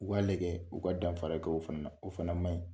O k'a lajɛ, o ka danfara kɛ o fana na. O fan man ɲi.